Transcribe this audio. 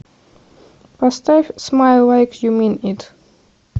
поставь смайл лайк ю мин ит